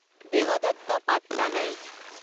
দেৱদত্ত Pattanaik